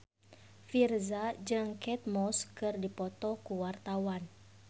Virzha jeung Kate Moss keur dipoto ku wartawan